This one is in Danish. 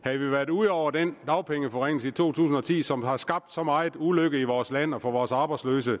havde vi været ude over den dagpengeforringelse i to tusind og ti som har skabt så meget ulykke i vores land og for vores arbejdsløse